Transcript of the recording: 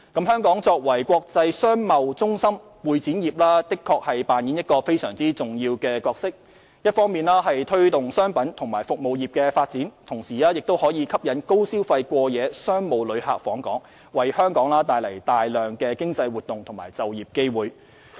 香港作為國際商貿中心，會展業確實擔當非常重要的角色，一方面推動商品和服務業的發展，同時吸引高消費過夜商務旅客訪港，為香港帶來大量經濟活動和就業機會。